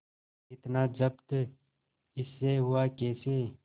इतना जब्त इससे हुआ कैसे